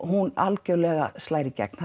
hún algjörlega slær í gegn